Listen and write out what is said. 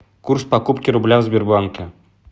курс покупки рубля в сбербанке